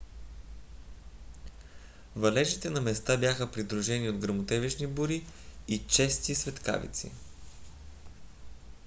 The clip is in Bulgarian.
валежите на места бяха придружени от гръмотевични бури и чести светкавици